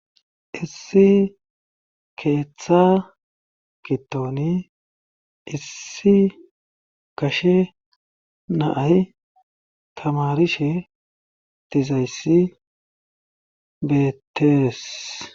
Issi keeththa kittoni issi gashe naay tamarishe tizayssi beettees.